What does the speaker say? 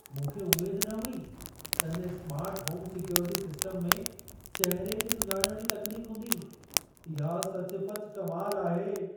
मूंखे उमेद न हुई त हिन स्मार्ट होम सिक्योरिटी सिस्टम में चहिरे खे सुञाणण जी तकनीक हूंदी। इहा सचुपचु कमाल आहे!